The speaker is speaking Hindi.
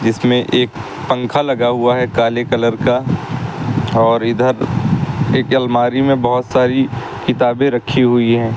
जिसमें एक पंखा लगा हुआ है काले कलर का और इधर एक अलमारी में बहोत सारी किताबें रखी हुई हैं।